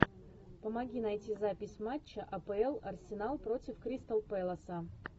помоги найти запись матча апл арсенал против кристал пэласа